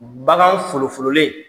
Bagan folo fololen